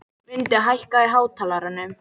Mundi, hækkaðu í hátalaranum.